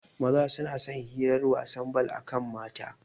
Maza suna son hirar wasan bal akan mata